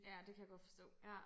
Ja det kan jeg forstå ja